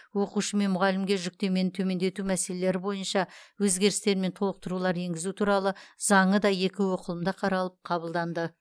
оқушы мен мұғалімге жүктемені төмендету мәселелері бойынша өзгерістер мен толықтырулар енгізу туралы заңы да екі оқылымда қаралып қабылданды